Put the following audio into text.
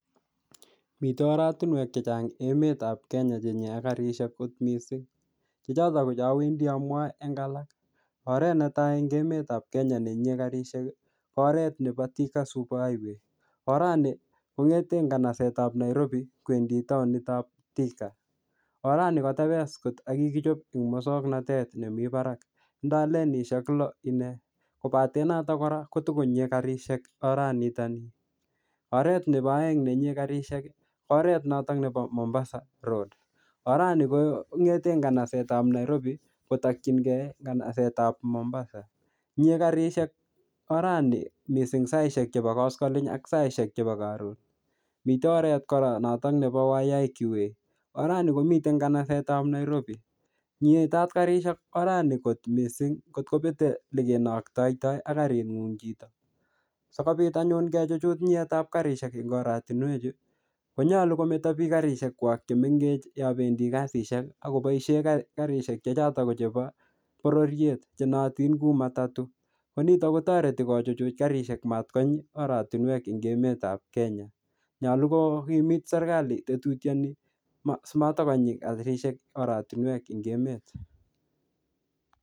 Mitei oratinwek chechang' emetab Kenya cheyie karishek kot mising' chechoto ko cheawendi amwoe eng' alak oret netai eng' emetab Kenya nenyie karishek ko oret nebo Thika super highway orani kong'ete kanasetab Nairobi kowendi taonitab Thika orani kotebes kot akokikichop eng' mosong'natet nemi barak tindoi lenishek loo ine kobate noto kora kotikonyiei karishek oranitani oret nebo oeng' nenyie karishek ko oret noto nebo Mombasa road orani ko ng'ete kanasetab Nairobi kotokchingei kanasetab Mombasa nyie karishek orani mising' saishek chebo koskoling' ak saishek chebo Karon mitei oret kora noto nebo Waiyaki way orani komitei kanasetab Nairobi nyitat karishek orani kot mising' kotkopetei ole kenoktoitoi ak karing'ung' chito sikobit anyun kechuchuch nyietab karishek eng' oratinwechu konyoru kometo biik karishekwak chemengech yo bendi kasishek akoboishe karishek chechoto kochop bororiet chenoyotin Ku matatu ko nito kotoreti kechuchuch karishek matkonyi oratinwek eng' emetab Kenya nyolu kokimit serikali tetutiani simatikonyi karishek oratinwek eng' emet